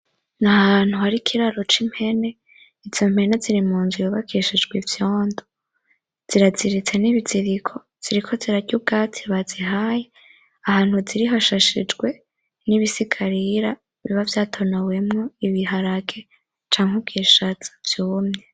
Ni ahantu hari ikiraro k'impene izo mpene ziri munzu yubakishijwe ivyondo ziraziritse nibiziriko ziriko zirarya ubwatsi bazihaye ahantu ziri hashashijwe n'ibitsikarira biba vyatonowemwo ibiharage canke ibishaza vyumye.